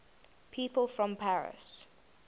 people from paris